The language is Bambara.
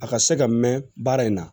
A ka se ka mɛn baara in na